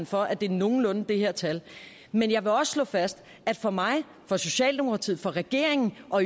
for at det er nogenlunde det her tal men jeg vil også slå fast at for mig for socialdemokratiet for regeringen og